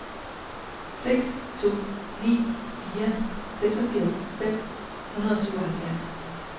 seks to ni fire seksogfirs fem hundrede og syvoghalvfjerds